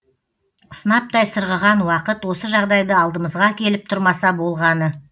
сынаптай сырғыған уақыт осы жағдайды алдымызға әкеліп тұрмаса болғаны